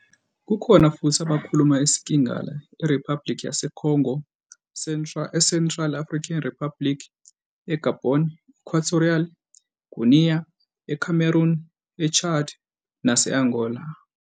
Kukhona futhi abakhuluma isiKingala eRiphabhulikhi yaseCongo, eCentral African Republic, eGabon, e-Equatorial Guinea, eCameroon, eChad nase-Angola.